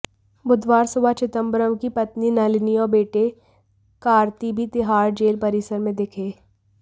बुधवार सुबह चिदंबरम की पत्नी नलिनी और बेटे कार्ति भी तिहाड़ जेल परिसर में दिखे